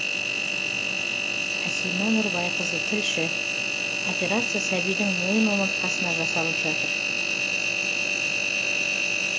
әсима нұрбайқызы тілші операция сәбидің мойын омыртқасына жасалып жатыр